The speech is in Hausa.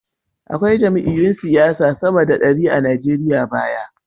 Akwai jam’iyyun siyasa sama da dari a Nigeriya baya.